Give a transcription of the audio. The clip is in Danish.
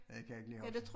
Det kan jeg ikke lige huske